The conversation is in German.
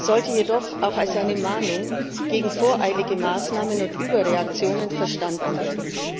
sollte jedoch auch als eine Mahnung gegen voreilige Maßnahmen und Überreaktionen verstanden werden.